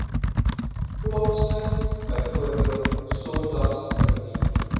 plaasvind bv sondagsrivier